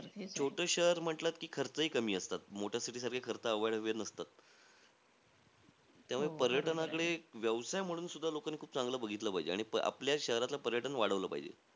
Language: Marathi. छोटं शहर म्हटलं की खर्चही कमी असतात. मोठ्या city सारखे खर्च अवाढव्य नसतात. त्यामुळे पर्यटनाकडे, व्यवसाय म्हणून सुद्धा लोकांनी खूप चांगलं बघितलं पाहिजे. आणि आपल्या शहरातलं पर्यटन वाढवलं पाहिजे.